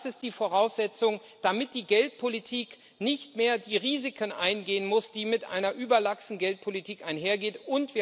Das ist die Voraussetzung, damit die Geldpolitik nicht mehr die Risiken eingehen muss, die mit einer überlaxen Geldpolitik einhergehen.